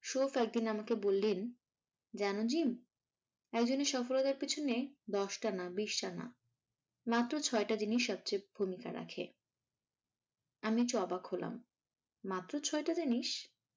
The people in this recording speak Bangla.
শোক একদিন আমাকে বললেন জানো জিম একজনের সফলতার পিছনে দশটা না বিশটা না মাত্র ছয়টা জিনিস সবচেয়ে ভূমিকা রাখে আমি তো অবাক হলাম মাত্র ছটা জিনিস!